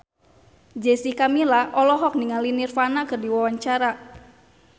Jessica Milla olohok ningali Nirvana keur diwawancara